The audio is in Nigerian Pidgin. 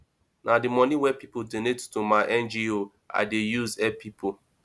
na di money wey pipo donate to my ngo i dey use help pipo